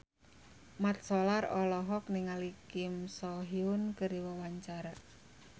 Mat Solar olohok ningali Kim So Hyun keur diwawancara